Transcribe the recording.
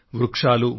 వృక్షాలు కానివ్వండి